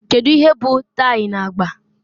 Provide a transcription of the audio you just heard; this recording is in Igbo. Kedu ihe bụ tie na agba